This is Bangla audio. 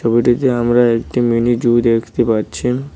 ছবিটিতে আমরা একটু মিনি জু দেখতে পাচ্ছি।